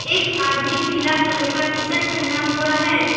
एक आदमी पीला कलर का टी शर्ट पहना हुआ है।